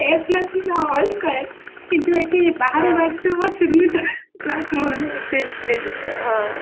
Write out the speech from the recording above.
a plus b ର hole square କିନ୍ତୁ ଏଠି ବାହାରେ ବାଜୁଥିବ ଚୁନି ତଳେ black